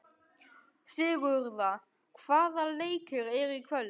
Sigurða, hvaða leikir eru í kvöld?